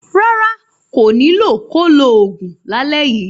Rárá, kò ní lò ko lo òògùn lálẹ yíi.